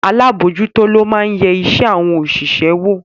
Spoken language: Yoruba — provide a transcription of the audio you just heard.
Alábòójútó lo máa ń yẹ iṣẹ́ àwọn òṣìṣẹ́ wò